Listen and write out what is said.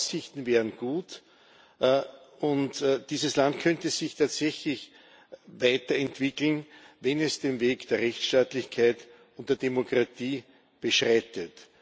Die Aussichten wären gut, und dieses Land könnte sich tatsächlich weiterentwickeln, wenn es den Weg der Rechtsstaatlichkeit und der Demokratie beschreitet.